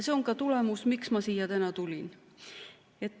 See on ka põhjus, miks ma siia tulin.